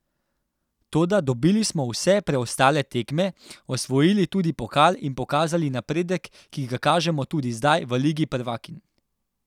Toda dobili smo vse preostale tekme, osvojili tudi pokal in pokazali napredek, ki ga kažemo tudi zdaj v ligi prvakinj.